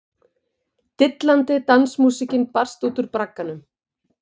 Dillandi dansmúsíkin barst út úr bragganum.